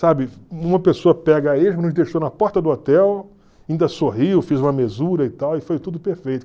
Sabe, uma pessoa pega deixou na porta do hotel, ainda sorriu, fez uma mesura e tal, e foi tudo perfeito.